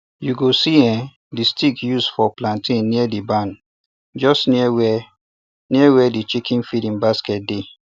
you go see um the stick use for planting near the barn um just near where near where the chicken feeding basket dey